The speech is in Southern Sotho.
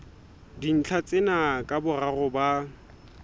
dintlha tsena ka boraro ba